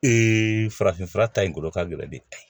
farafin fura ta in kolo ka gɛlɛn de